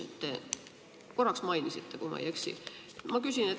Te korraks seda mainisite, kui ma ei eksi.